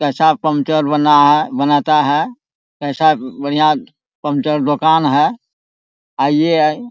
प्रसाद puncture बांये है बनता है ऐसा बढ़िया पंचर दुकान है आइये।